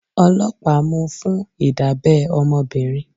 Ọlọ́pàá mú fún Ìdábẹ́ ọmọbìnrin.